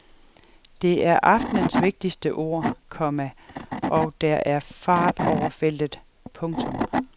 Det er aftenens vigtigste ord, komma og der er fart over feltet. punktum